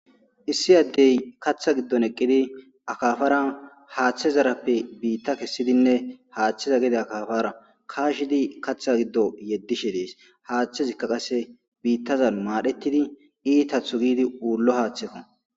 Issi addey kaaththa giddon eqqidi akaafara haaththe zarappe biita kessidinne haaththeza gede akaafara kaashidi kaaththa giddo yedishe dees; hayththezika qasse biitazan maadhetidi iitatho giidi uullo haaththeko.